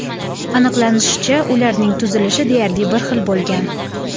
Aniqlanishicha, ularning tuzilishi deyarli bir xil bo‘lgan.